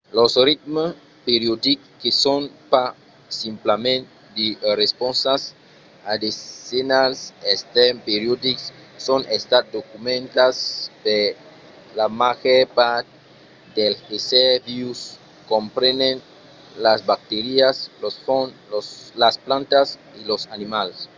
los ritmes periodics que son pas simplament de responsas a de senhals extèrns periodics son estats documentats per la màger part dels èssers vius comprenent las bacterias los fongs las plantas e los animals